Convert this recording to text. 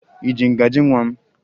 Ị ji ngaji nwa m?